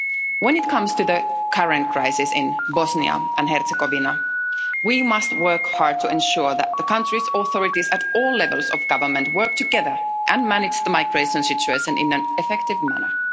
When it comes to the current crisis in Bosnia and Herzegovina, we must work hard to ensure that the country's authorities, at all levels of government, work together and manage the migration situation in an effective manner.